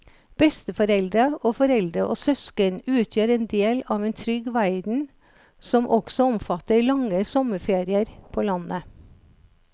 Besteforeldre og foreldre og søsken utgjør en del av en trygg verden som også omfatter lange sommerferier på landet.